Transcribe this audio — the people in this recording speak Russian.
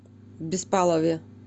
беспалове